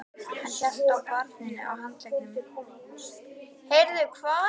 Hann hélt á barninu á handleggnum.